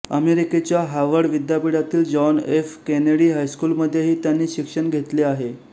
अमेरिकेच्या हार्वर्ड विद्यापीठातील John F Kennedy स्कूलमध्येही त्यांनी शिक्षण घेतले आहे